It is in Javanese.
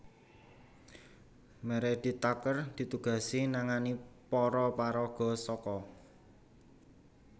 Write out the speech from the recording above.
Meredith Tucker ditugasi nangani para paraga saka